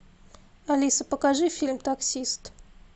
алиса покажи фильм таксист